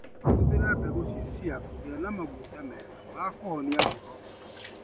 Hũthĩra mbegũ cia chia kũgĩa na maguta mega ma kũhonia ngoro.